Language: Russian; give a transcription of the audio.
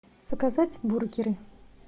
заказать бургеры